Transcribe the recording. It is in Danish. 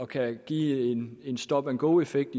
kan give en stop and go effekt